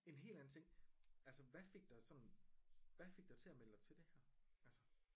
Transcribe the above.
En helt anden ting altså hvad fik dig sådan hvad fik dig til at melde dig til det her altså?